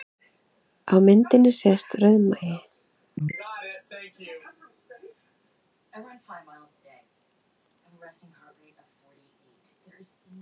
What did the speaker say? Á myndinni sést rauðmagi